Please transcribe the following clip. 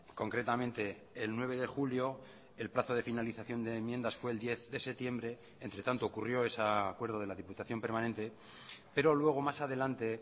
concretamente el nueve de julio el plazo de finalización de enmiendas fue el diez de septiembre entre tanto ocurrió ese acuerdo de la diputación permanente pero luego más adelante